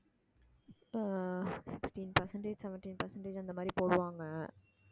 ஆஹ் sixteen percentage, seventeen percentage அந்த மாதிரி போடுவாங்க